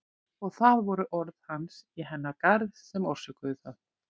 Og það voru orð hans í hennar garð sem orsökuðu það.